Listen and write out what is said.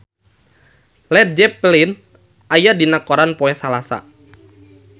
Led Zeppelin aya dina koran poe Salasa